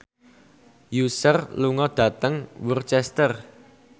Usher lunga dhateng Worcester